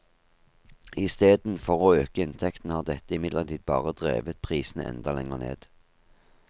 I steden for å øke inntektene har dette imidlertid bare drevet prisene enda lenger ned.